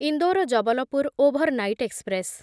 Indore Jabalpur overnight express